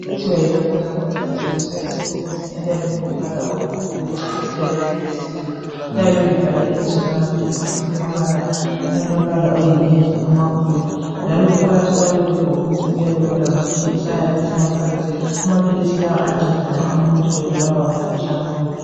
Amaphilisi okuthiwa yiloperamide athengiswa esebhokisini eliyabe lilombala obomvu, lilechatha eliyabe lilisikela. Liyabe libhalwe ibizo lamaphilisi ngamabala alombala oyinavy amakhulu njalo phakathi kwalelobhokisi kuyabe kulamaphilisi ayabe esemaphaketheni. Amaphilisi la ayanceda nxa umuntu ebulawa ngumkhuhlane owohudo.